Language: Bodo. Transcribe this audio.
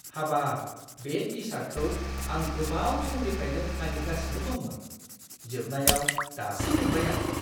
हाबाब! बे टि-सार्टखौ आं गोबाव समनिफ्रायनो नागिरगासिनो दंमोन। जोबनायाव, दासो मोनबाय आं।